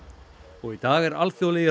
og í dag er alþjóðlegi